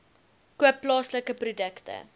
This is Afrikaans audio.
koop plaaslike produkte